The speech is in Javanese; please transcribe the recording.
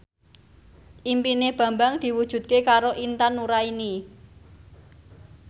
impine Bambang diwujudke karo Intan Nuraini